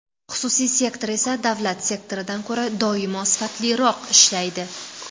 Xususiy sektor esa davlat sektoridan ko‘ra doimo sifatliroq ishlaydi.